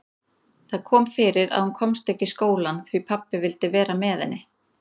Það kom fyrir að hún komst ekki í skólann því pabbi vildi vera með henni.